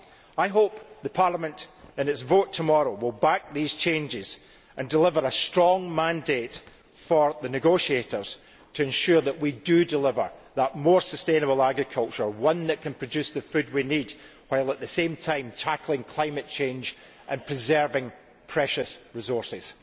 I hope that Parliament, in its vote tomorrow, will back these changes and deliver a strong mandate for the negotiators, to ensure that we do deliver a more sustainable agriculture one that can produce the food we need while at the same time tackling climate change and preserving precious resources.